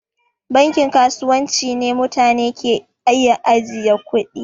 Bankin kasuwanci ne mutane ke iya ajiye kuɗi.